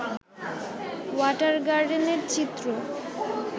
water গার্ডেনের চিত্র